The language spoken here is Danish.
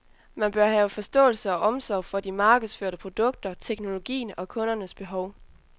Man bør have forståelse og omsorg for de markedsførte produkter, teknologien, og kundernes behov.